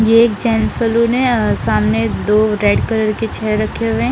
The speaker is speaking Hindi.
ये एक गेंट्स सैलून हैं अ आमने दो रेड कलर की चेयर रखे हुए हैं।